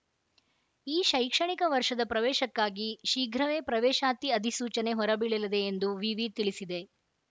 ಈ ಶೈಕ್ಷಣಿಕ ವರ್ಷದ ಪ್ರವೇಶಕ್ಕಾಗಿ ಶೀಘ್ರವೇ ಪ್ರವೇಶಾತಿ ಅಧಿಸೂಚನೆ ಹೊರಬೀಳಲಿದೆ ಎಂದು ವಿವಿ ತಿಳಿಸಿದೆ